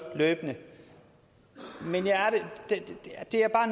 løbende men